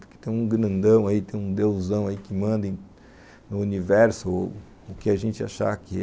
Porque tem um grandão aí, tem um deusão aí que manda no universo ou o que a gente achar que é.